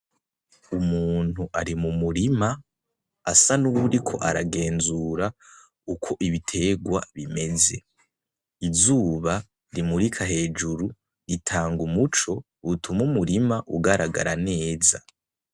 Umuntu ari mumurima asa nuwuriko aragenzura uko ibitegwa bimeze. Izuba rimurika hejuru ritanga umuco utuma umurima ugaragara neza.